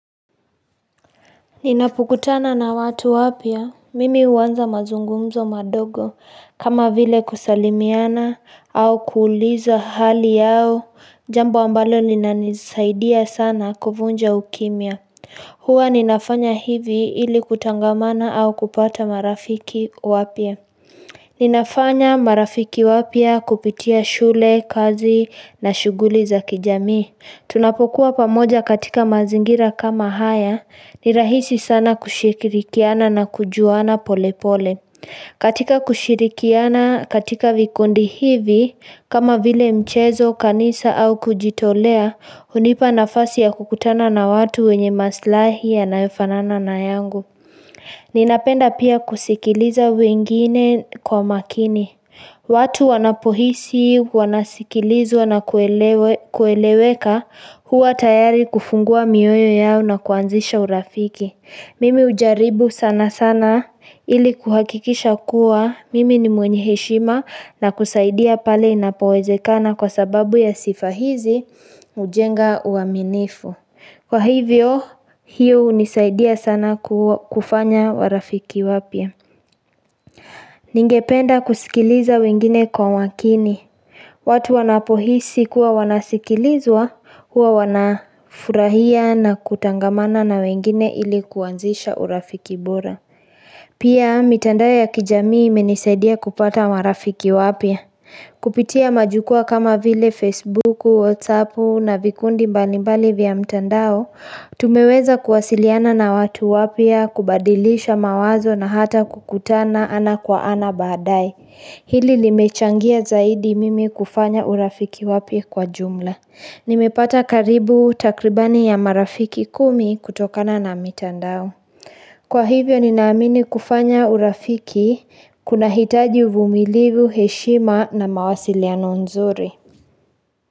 Ninapokutana na watu wapya mimi huanza mazungumzo madogo kama vile kusalimiana au kuuliza hali yao jambo ambalo linanisaidia sana kuvunja ukimya huwa ninafanya hivi ili kutangamana au kupata marafiki wapya Ninafanya marafiki wapya kupitia shule kazi na shuguli za kijami Tunapokuwa pamoja katika mazingira kama haya, ni rahisi sana kushikirikiana na kujuana polepole. Katika kushikirikiana katika vikundi hivi, kama vile mchezo, kanisa au kujitolea, hunipa nafasi ya kukutana na watu wenye maslahi yanayofanana na yangu. Ninapenda pia kusikiliza wengine kwa makini. Watu wanapohisi, wanasikilizwa na kueleweka huwa tayari kufungua mioyo yao na kuanzisha urafiki. Mimi ujaribu sana sana ili kuhakikisha kuwa mimi ni mwenye heshima na kusaidia pale inapowezekana kwa sababu ya sifa hizi hujenga uaminifu. Kwa hivyo hiyo hunisaidia sana kufanya warafiki wapya Ningependa kusikiliza wengine kwa makini watu wanapohisi kuwa wanasikilizwa huwa wanafurahia na kutangamana na wengine ili kuanzisha urafiki bora Pia mitandao ya kijamii imenisaidia kupata warafiki wapya Kupitia majukwa kama vile Facebook, Whatsappu na vikundi mbalimbali vya mtandao Tumeweza kuwasiliana na watu wapya kubadilisha mawazo na hata kukutana ana kwa ana badae Hili limechangia zaidi mimi kufanya urafiki wapya kwa jumla Nimepata karibu takribani ya marafiki kumi kutokana na mitandao Kwa hivyo ninaamini kufanya urafiki kuna hitaji uvumilivu heshima na mawasiliano nzuri.